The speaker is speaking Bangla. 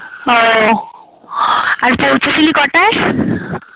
ও আর পৌঁছেসিলি কটায়?